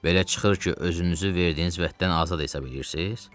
Belə çıxır ki, özünüzü verdiyiniz vəddən azad hesab eləyirsiz?